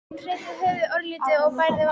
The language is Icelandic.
Hún hreyfði höfuðið örlítið og bærði varirnar.